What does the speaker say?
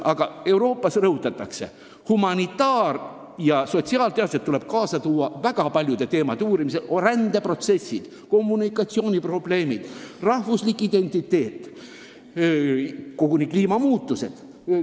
Aga Euroopas rõhutatakse, et humanitaar- ja sotsiaalteadlased tuleb kaasa tõmmata väga paljude teemade uurimisel: rändeprotsessid, kommunikatsiooniprobleemid, rahvuslik identiteet, koguni kliimamuutused.